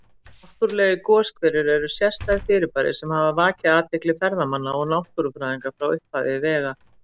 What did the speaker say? Náttúrlegir goshverir eru sérstæð fyrirbæri sem hafa vakið athygli ferðamanna og náttúrufræðinga frá upphafi vega.